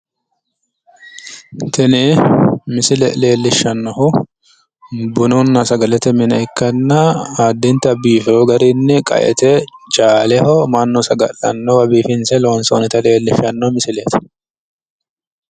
Tini misile leellishshannohu bununna sagalete mine ikkanna addinta biifiwo garinni qaete caaleho mannu saga'lannowa biifinse loonsoonnita leellishshanno misileeti.